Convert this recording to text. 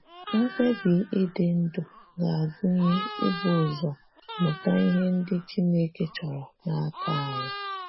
Mkpebi ịdị ndụ ga-agụnye ibu ụzọ mụta ihe ndị Chineke chọrọ n’aka anyị.